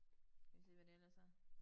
Skal vi se hvad der ellers er